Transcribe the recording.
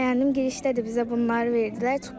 Yəni bəyəndim, girişdə də bizə bunları verdilər.